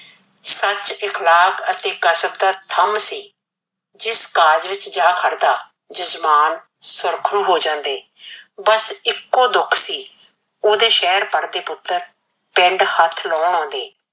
ਸੱਚ ਦੇ ਖਿਲਾਫ ਅਤੇ ਕਸਤ ਦਾ ਥੰਮ ਸੀ। ਜਿਸ ਕਾਜ ਵਿੱਚ ਜਾ ਖੜਦਾ ਜਜਮਾਨ ਸੁਰੱਖੂ ਹੋ ਜਾਂਦੇ, ਬਸ ਇੱਕੋ ਦੁਖ ਸੀ ਉਹਦੇ ਸਹਿਰ ਪੜਦੇ ਪੁੱਤਰ ਪਿੰਡ ਹੱਥ ਲਾਉਣ ਆਉਂਦੇ